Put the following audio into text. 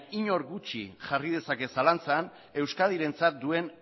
inor gutxi jarri dezake zalantzan euskadirentzat duen